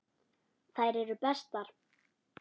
Þær eru bestar.